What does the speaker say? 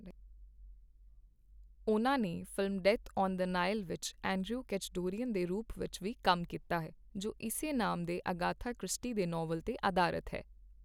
ਉਹਨਾਂ ਨੇ film Death on the Nile ਵਿੱਚ ਐਂਡਰਿਊ ਕੈਚਡੌਰੀਅਨ ਦੇ ਰੂਪ ਵਿੱਚ ਵੀ ਕੰਮ ਕੀਤਾ ਹੈ, ਜੋ ਇਸੇ ਨਾਮ ਦੇ ਅਗਾਥਾ ਕ੍ਰਿਸਟੀ ਦੇ ਨਾਵਲ 'ਤੇ ਅਧਾਰਤ ਹੈ।